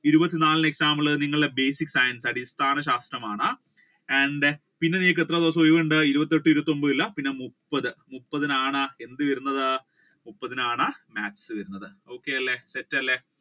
ഇരുപത്തി നാലിന് exam ഉള്ളത് നിങ്ങളുടെ basic science അടിസ്ഥാന ശാസ്ത്രമാണ് and then പിന്നെ നിങ്ങൾക്ക് എത്ര ദിവസം ഒഴിവുണ്ട് ഇരുപത്തി എട്ട് ഇരുപത്തി ഒൻപത് ഇല്ല പിന്നെ മുപ്പത് പിന്നെ മുപ്പത്തിനാണ് എന്ത് വരുന്നത് മുപ്പത്തിനാണ് maths വരുന്നത് അപ്പൊ okay അല്ലെ set അല്ലെ